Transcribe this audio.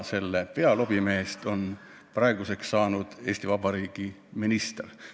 Selle pealobimehest on praeguseks saanud Eesti Vabariigi minister.